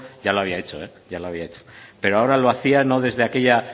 ya lo había hecho ya lo había hecho pero ahora lo hacía no desde aquella